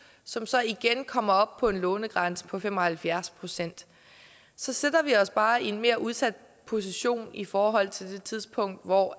som så igen kommer op på en lånegrænse på fem og halvfjerds procent så sætter vi os bare i en mere udsat position i forhold til det tidspunkt hvor